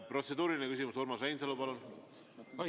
Protseduuriline küsimus, Urmas Reinsalu, palun!